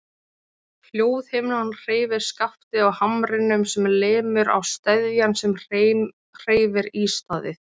Hljóðhimnan hreyfir skaftið á hamrinum sem lemur á steðjann sem hreyfir ístaðið.